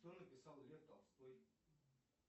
что написал лев толстой